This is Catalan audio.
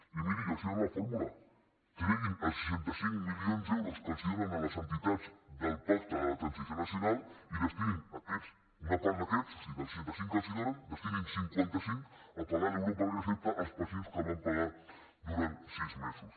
i miri jo els dono la fór·mula treguin els seixanta cinc milions d’euros que els donen a les entitats del pacte de la transició nacional i destinin aquests una part d’aquests o sigui dels seixanta cinc que els do·nen destinin·ne cinquanta cinc a pagar l’euro per recepta als pa·cients que el van pagar durant sis mesos